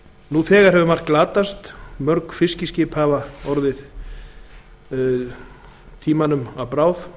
nú þegar hefur margt glatast af þessum arfi mörg fiskiskip hafa þegar orðið tímans tönn að bráð